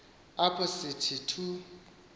apho sithi thu